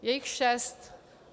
Je jich šest.